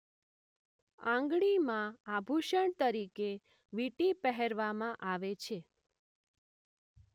આંગળીમાં આભૂષણ તરીકે વીંટી પહેરવામાં આવે છે